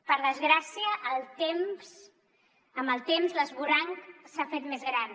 per desgràcia amb el temps l’esvoranc s’ha fet més gran